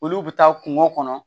Olu bɛ taa kungo kɔnɔ